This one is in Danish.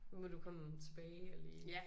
Nu må du komme tilbage og lige